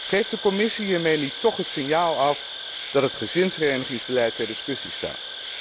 Geeft de Commissie hiermee niet toch het signaal af dat het gezinsherenigingsbeleid ter discussie staat?